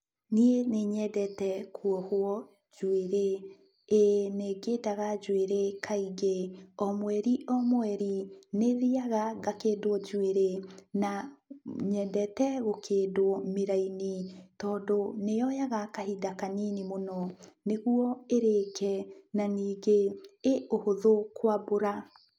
Niĩ nĩnyendete kwohwo njuĩrĩ. Ĩĩ nĩngĩndaga njuĩrĩ kaingĩ. O mweri o mweri nĩthiaga ngakĩndwo njuĩrĩ na nyendete gũkĩndwo mĩraini, tondũ nĩyoyaga kahinda kanini mũno nĩgwo ĩrĩke, na ningĩ ĩ ũhũthũ mũno kwambũra.